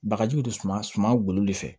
Bagajiw de suman golo de fɛ